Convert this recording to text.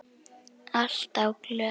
Alltaf glöð.